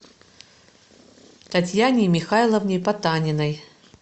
татьяне михайловне потаниной